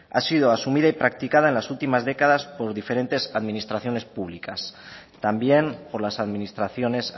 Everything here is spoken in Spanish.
ha sido asumida y practicada en las últimas décadas por diferentes administraciones públicas también por las administraciones